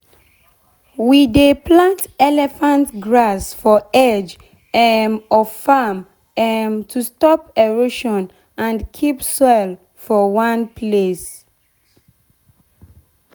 we dey plant elephant grass for edge um of farm um to stop erosion and keep soil for one place.